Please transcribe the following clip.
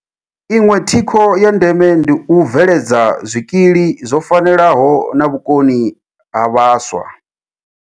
Iṅwe thikho ya ndeme ndi u bve ledza zwikili zwo fanelaho na vhukoni ha vhaswa.